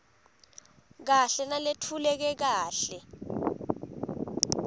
kahle naletfuleke kahle